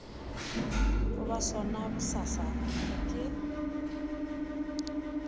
go ba sona bosasa ke